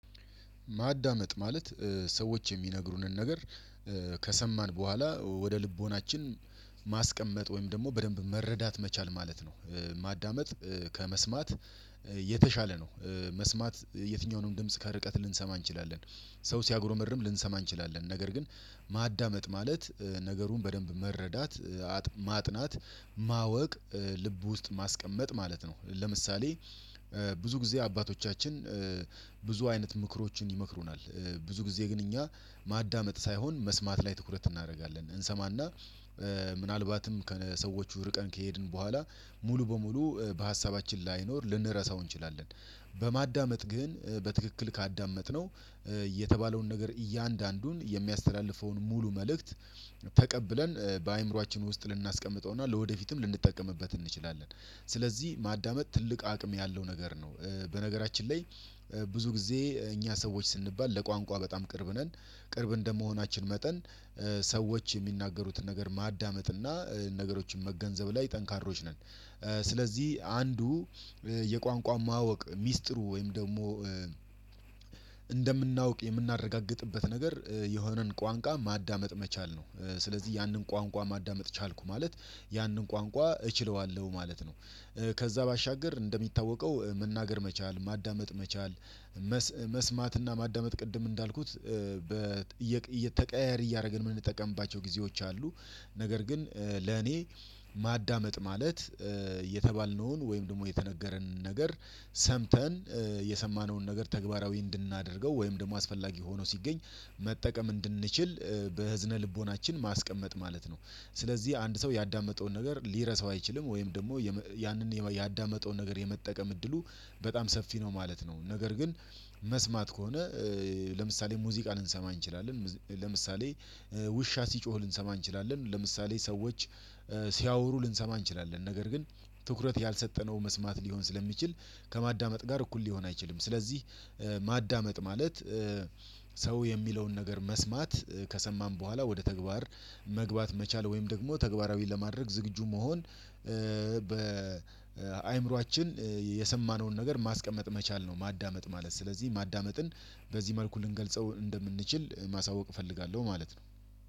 ማዳመጥ ማለት ሰዎች የሚነግሩንን ነገር ከሰማን በኋላ ወደ ልቦናችን ማስቀመጥ ወይም ደግሞ በደንብ መረዳት መቻል ማለት ነው። ማዳመጥ ከመስማት የተሻለ ነው። መስማት የትኛውንም ድምጽ ከርቀት ልንሰማ እንችላለን። ሰው ሲያጉረመርም ልንሰማ እንችላለን ነገር ግን ማዳመጥ ማለት ነገሩን በደንብ መረዳት፣ ማጥናት፣ ማወቅ፣ ልብ ውስጥ ማስቀመጥ ማለት ነው። ለምሳሌ ብዙ ጊዜ አባቶቻችን ብዙ አይነት ምክሮችን ይመክሩናል። ብዙ ጊዜ ግን እኛ ማዳመጥ ሳይሆን መስማት ላይ ትኩረት እናደርጋለን። እንሰማና ምናልባትም ከሰዎቹ ርቀን ከሄድን በኋላ ሙሉ በሙሉ በሀሳባችን ላይኖር ልንረሳው እንችላለን። በማዳመጥ ግን በትክክል ካዳመጥነው የተባለውን ነገር እያንዳንዱን የሚያስተላልፈውን ሙሉ መልእክት ተቀብለን በአእምሮአችን ውስጥ ልናስቀምጠውና ለወደፊትም ልንጠቀምበት እንችላለን። ስለዚህ ማዳመጥ ትልቅ አቅም ያለው ነገር ነው። በነገራችን ላይ ብዙ ጊዜ እኛ ሰዎች ስንባል ለቋንቋ በጣም ቅርብ ነን፤ ቅርብ እንደመሆናችን መጠን ሰዎች የሚናገሩትን ነገር ማዳመጥ እና ነገሮችን መገንዘብ ላይ ጠንካሮች ነን። ስለዚህ አንዱ የቋንቋን ማወቅ ሚስጥሩ ወይም ደግሞ እንደምናውቅ የምናረጋግጥበት ነገር የሆነን ቋንቋ ማዳመጥ መቻል ነው። ስለዚህ ያንን ቋንቋ ማዳመጥ ቻልኩ ማለት ያንን ቋንቋ እችለዋለሁ ማለት ነው ከዛ ባሻገር እንደሚታወቀው መናገር መቻል፤ ማዳመጥ መቻል የተባለውን ነገር እያንዳንዱን የሚያስተላልፈውን ሙሉ መልእክት ተቀብለን በአእምሮአችን ውስጥ ልናስቀምጠውና ለወደፊትም ልንጠቀምበት እንችላለን። ስለዚህ ማዳመጥ ትልቅ አቅም ያለው ነገር ነው። በነገራችን ላይ የተባልነውን ወይም ደግሞ የተነገረንን ነገር ሰምተን የሰማነዉን ነገር ተባራዊ እንድናደርገው ወይም ደግሞ አስፈላጊ ሆኖ ሲገኝ መጠቀም እንድንችል በህዝነ ልቦናችን ማስቀመጥ ማለት ነው። ስለዚህ አንድ ሰው ያዳመጠውን ነገር ሊረሳው አይችልም ወይም ደግሞ ያንን ያዳመጠውን ነገር የመጠቀም እድሉ በጣም ሰፊ ነው ማለት ነው። ነገር ግን መስማት ከሆነ ለምሳሌ ሙዚቃ ልንሰማ እንችላለን፤ ለምሳሌ ውሻ ሲጮህ ልንሰማ እንችላለን፤ ለምሳሌ ሰዎች ሲያወሩ ልንሰማ እንችላለን። ነገር ግን ትኩረት ያልሰጠነው መስማት ልሆን ስለሚችል ከማዳመጥ ጋር እኩል ልሆን አይችልም። ስለዚህ ማዳመጥ ማለት ሰው የሚለውን ነገር መስማት፤ ከሰማን ቦኋላ ወደ ተግባር መግባት መቻል ወይም ደግሞ ተግባራዊ ለማድረግ ዝግጁ መሆን በአእምሯችን የሰማነውን ነገር ማስቀመጥ መቻል ነው ማዳመጥ ማለት። ስለዚህ ማዳመጥን በዚህ መልኩ ልንገልጸው እንድምንችል ማሳወቅ እፈልጋለው ማለት ነው።